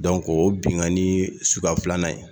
o ye binnkanni suguya filanan ye